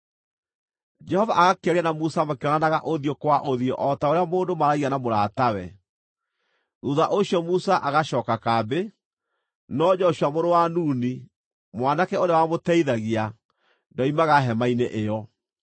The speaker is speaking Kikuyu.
Jehova agakĩaria na Musa makĩonanaga ũthiũ kwa ũthiũ o ta ũrĩa mũndũ maaragia na mũratawe. Thuutha ũcio Musa agacooka kambĩ, no Joshua mũrũ wa Nuni, mwanake ũrĩa wamũteithagia, ndoimaga hema-inĩ ĩyo.